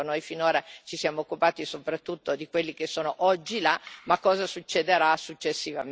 Noi finora ci siamo occupati soprattutto di quelli che sono oggi là, ma cosa succederà successivamente?